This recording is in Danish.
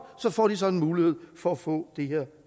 får de så en mulighed for at få det her